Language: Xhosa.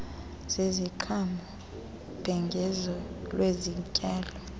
zeziqhamo ubhengezo lwezityalo